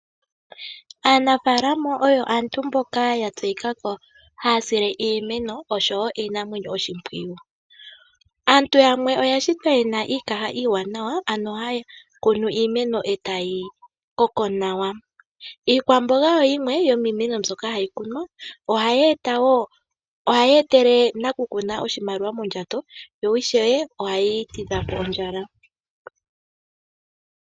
Aanafaalama oyo aantu mboka yatseyika ko haya sile iimeno osho wo iinamwenyo oshimpwiyu. Aantu yamwe oyashitwa ye na iikaha iiwanawa ano haya kunu iimeno e tayi koko nawa. Iikwamboga oyo yimwe yomiimeno mbyoka hayi kunwa, ohayi etele nakukuna oshimaliwa mondjato yo ishewe ohayi tidha po ondjala.